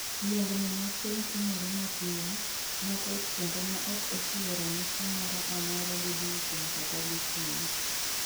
Yiengni mar piny timore mapio, matek kendo ma ok ochiwo ranyisi sa moro a mora go diechieng' kata go tieno